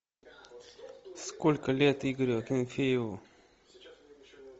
сколько лет игорю акинфееву